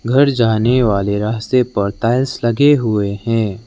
घर जाने वाले रास्ते पर टाइल्स लगे हुए हैं।